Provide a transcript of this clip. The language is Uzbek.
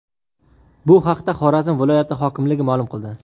Bu haqda Xorazm viloyati hokimligi ma’lum qildi .